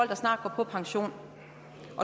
der snart går på pension